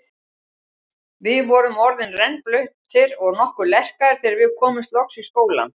Við vorum orðnir rennblautir og nokkuð lerkaðir þegar við komumst loks í skólann.